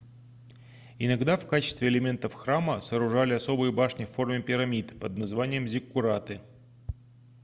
иногда в качестве элементов храма сооружали особые башни в форме пирамид под названием зиккураты